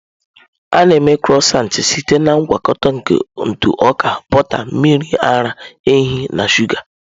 A na-eme Crọisantị site na ngwakọta nke ntụ ọka, bọta, mmiri ara ehi na shụga.